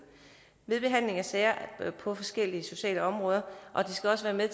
ved behandling af sager på forskellige sociale områder og det skal også være med